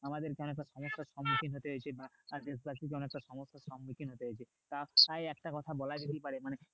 আমাদেরকে সম্মুখীন হতে হয়েছে দেশবাসীকে অনেকটা সম্মুখীন হতে হয়েছে তা একটা কথা বলা যেতে পারে মানে